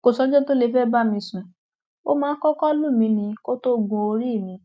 kò sọjọ tó lè fẹẹ bá mi sùn ó máa kọkọ lù mí ni kó tóó gun orí mi